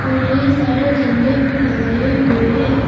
और ढेर सारे झंडे भी लगाए हुए हैं।